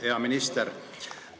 Hea minister!